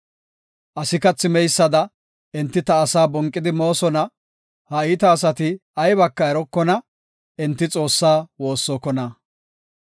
Asi kathi meysada, enti ta asaa bonqidi moosona; ha iita asati aybaka erokona; enti Xoossaa woossokona.